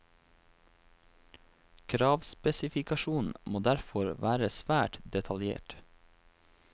Kravspesifikasjonen må derfor være svært detaljert.